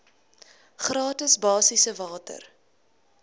gratis basiese water